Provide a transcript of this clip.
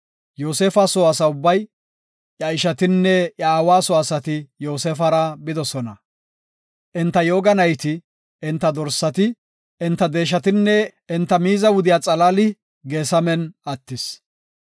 Yoosefa soo asa ubbay, iya ishatinne iya aawa soo asati Yoosefara bidosona. Enta yooga nayti, enta dorsati, enta deeshatinne enta miiza wudiya xalaali Geesamen attis.